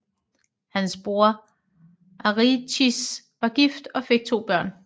Hans bror Arichis var gift og fik to børn